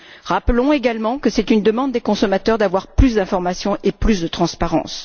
Rappelons également que c'est une demande des consommateurs d'avoir plus d'informations et plus de transparence.